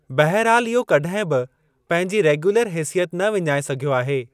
बहरहालु इहो कॾहिं बि पंहिंजी रेग्यूलर हेसियत न विञाइ सघियो आहे।